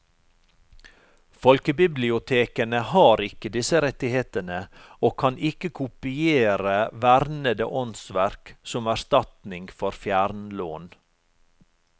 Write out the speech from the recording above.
Folkebibliotekene har ikke disse rettighetene og kan ikke kopiere vernede åndsverk som erstatning for fjernlån.